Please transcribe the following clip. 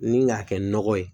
Ni k'a kɛ nɔgɔ ye